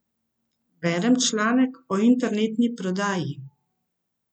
Berem članek o internetni prodaji.